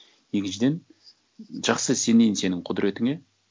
екіншіден жақсы сенейін сенің құдіретіңе